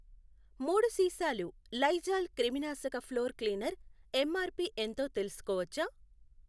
మూడు సీసాలు లైజాల్ క్రిమినాశక ఫ్లోర్ క్లీనర్ ఎంఆర్పి ఎంతో తెలుసుకోవచ్చా?